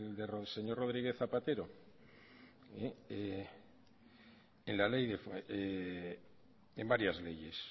del señor rodríguez zapatero en varias leyes